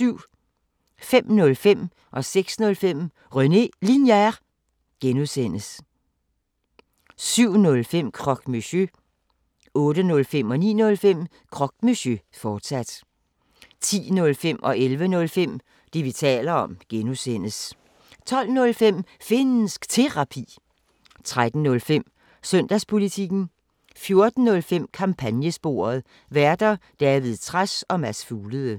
05:05: René Linjer (G) 06:05: René Linjer (G) 07:05: Croque Monsieur 08:05: Croque Monsieur, fortsat 09:05: Croque Monsieur, fortsat 10:05: Det, vi taler om (G) 11:05: Det, vi taler om (G) 12:05: Finnsk Terapi 13:05: Søndagspolitikken 14:05: Kampagnesporet: Værter: David Trads og Mads Fuglede